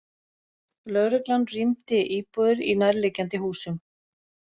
Lögreglan rýmdi íbúðir í nærliggjandi húsum